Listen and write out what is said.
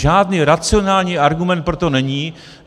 Žádný racionální argument pro to není.